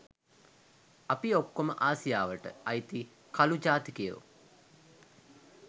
අපි ඔක්කොම ආසියාවට අයිති කළු ජාතිකයො